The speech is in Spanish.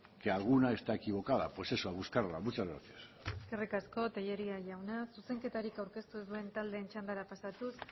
que alguna está equivocada pues eso a buscarla muchas gracias eskerrik asko tellería jauna zuzenketarik aurkeztu ez duen taldeen txandara pasatuz